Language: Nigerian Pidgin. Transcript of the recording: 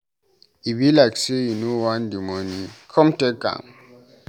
E be like say you no want the money, come take am.